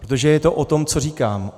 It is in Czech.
Protože je to o tom, co říkám.